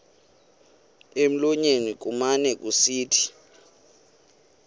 emlonyeni kumane kusithi